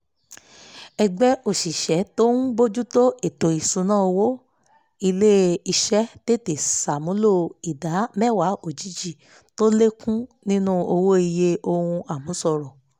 ẹgbẹ́ òṣìṣẹ́ tó ń bójú tó ètò ìṣúnná owó ilé-iṣẹ́ tètè ṣàmúlò ìdá mẹ́wàá òjijì tó lékún nínú owó iye ohun àmúṣọrọ̀